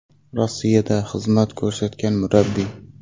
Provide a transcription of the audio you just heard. Rossiyada xizmat ko‘rsatgan murabbiy.